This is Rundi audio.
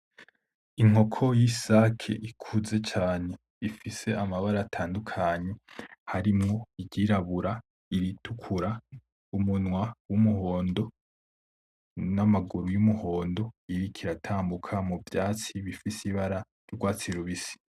Inkoko y'isake ikuze cane, ifise amabara atandukanye harimwo iryirabura, iritukura, umunwa w'umuhondo, n'amaguru y'umuhondo. Iriko iratambuka mu vyatsi bifise ibara y'urwatsi rubisi.